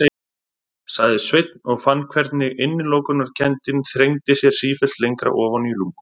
sagði Sveinn og fann hvernig innilokunarkenndin þrengdi sér sífellt lengra ofan í lungun.